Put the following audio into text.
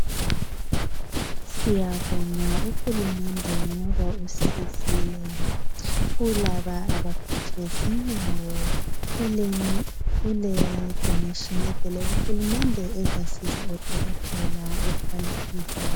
Siyabonga uhulumende ngoba usizile kulaba abaphethwe zinyawo kule donation evele kuhulumende ezasiza odokotela ukuthi balisize.